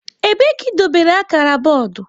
Ebee ka idobere akara bọọdụ?